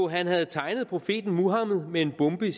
han havde tegnet profeten muhammed med en bombe i